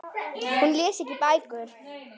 Hún les ekki bækur.